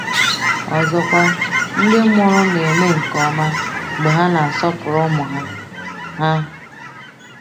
Ọzọkwa, ndị mụrụ na-eme nke ọma mgbe ha na-asọpụrụ ụmụ ha. ha.